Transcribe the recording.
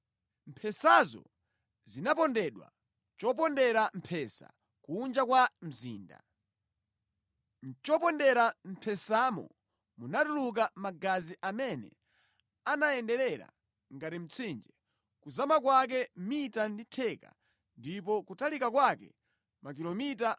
Mphesazo zinapondedwa mʼchopondera mphesa kunja kwa mzinda. Mʼchopondera mphesamo munatuluka magazi amene anayenderera ngati mtsinje, kuzama kwake mita ndi theka ndipo kutalika kwake makilomita 300.